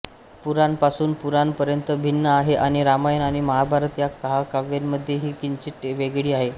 पुराण पासून पुराण पर्यंत भिन्न आहे आणि रामायण आणि महाभारत या महाकाव्यांमधेही किंचित वेगळी आहे